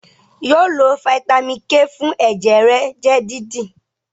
yóò lo Vitamin k fún ẹjẹ rẹ jẹ dídì!